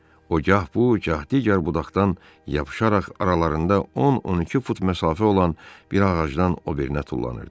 O gah bu, gah digər budaqdan yapışaraq aralarında 10-12 fut məsafə olan bir ağacdan o birinə tullanırdı.